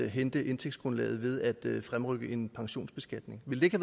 hente indtægtsgrundlaget ved at fremrykke en pensionsbeskatning ville det